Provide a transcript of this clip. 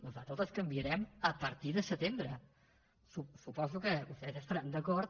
nosaltres les canviarem a partir de setembre suposo que vostès hi deuen estar d’acord